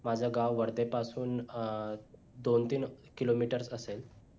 माझ गाव वर्धे पासून अं दोन तीन kilometer असेल